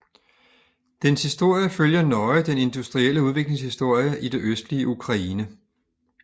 Dens historie følger nøje den industrielle udviklings historie i det østlige Ukraine